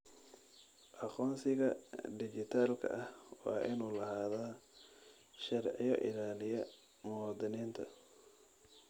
Aqoonsiga dhijitaalka ah waa inuu lahaadaa sharciyo ilaaliya muwaadiniinta.